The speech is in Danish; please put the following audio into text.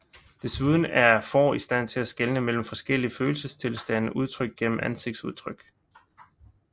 Desuden er får i stand til skelne mellem forskellige følelsestilstande udtrykt gennem ansigtsudtryk